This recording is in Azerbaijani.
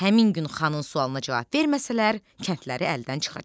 Həmin gün xanın sualına cavab verməsələr, kəndləri əldən çıxacaq.